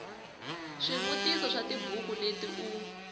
swivutiso swa tibuku leti u